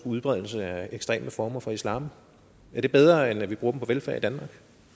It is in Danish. udbredelse af ekstreme former for islam og er det bedre end at vi bruger dem på velfærd i danmark